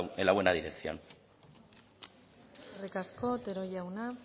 en la buena dirección eskerrik asko otero jauna